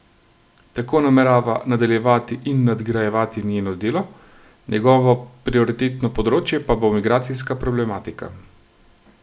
Tako namerava nadaljevati in nadgrajevati njeno delo, njegovo prioritetno področje pa bo migracijska problematika.